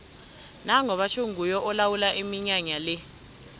nango batjho nguye olawula iminyanya le